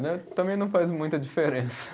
também não faz muita diferença.